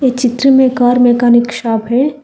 इ चित्र में कार मैकेनिक शॉप है।